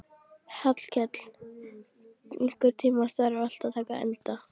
Hallkell, einhvern tímann þarf allt að taka enda.